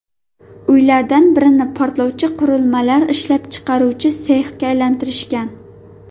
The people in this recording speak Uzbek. Uylardan birini portlovchi qurilmalar ishlab chiqaruvchi sexga aylantirishgan.